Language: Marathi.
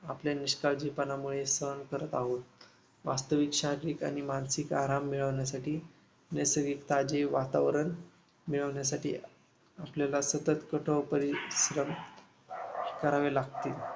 आपल्या निष्काळजीपणामुळे सहन करत आहोत. वास्तविक शारीरिक आणि मानसिक आराम मिळवण्यासाठी नैसर्गिक ताजे वातावरण मिळवण्यासाठी आपल्याला सतत कठोर परिश्रम करावे लागते.